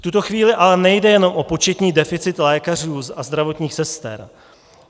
V tuto chvíli ale nejde jen o početní deficit lékařů a zdravotních sester.